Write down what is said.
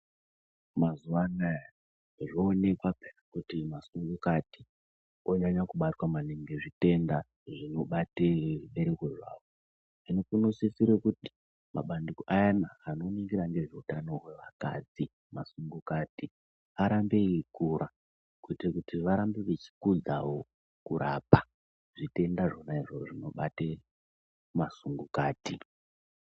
Mazuwa anaya zvoonekwa peya kuti masungukati onyanya kubatwa maningi ngezvitenda zvinobate zvibereko zvawo. Hino kunososira kuti mabandiko ayana anoningira ngezveutano hwevakadzi, masungukati arambe eikura kuitira kuti varambe vechikudzawo kurapa zvitenda zvona izvozvo zvinobate masungukati.